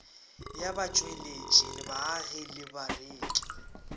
ya batšweletši baagi le bareki